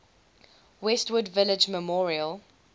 westwood village memorial